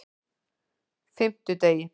fimmtudegi